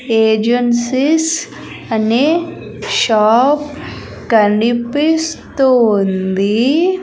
Agencies అనే shop కనిపిస్తూ ఉంది.